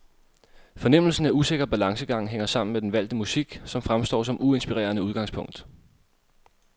Fornemmelsen af usikker balancegang hænger sammen med den valgte musik, som fremstår som uinspirerende udgangspunkt.